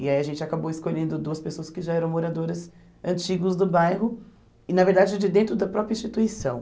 E aí a gente acabou escolhendo duas pessoas que já eram moradoras antigos do bairro e, na verdade, de dentro da própria instituição.